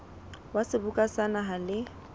wa seboka sa naha le